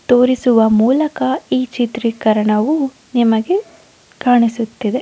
ತೋರಿಸುವ ಮೂಲಕ ಈ ಚಿತ್ರೀಕರಣವು ನಿಮಗೆ ಕಾಣಿಸುತ್ತಿದೆ .